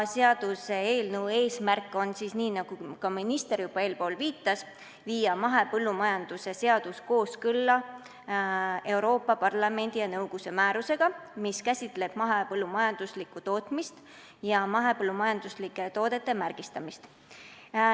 Seaduseelnõu eesmärk on, nagu minister juba eespool viitas, viia mahepõllumajanduse seadus kooskõlla Euroopa Parlamendi ja nõukogu määrusega, mis käsitleb mahepõllumajanduslikku tootmist ja mahepõllumajanduslike toodete märgistamist.